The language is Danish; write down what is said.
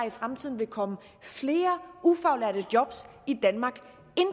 i fremtiden vil komme flere ufaglærte job i danmark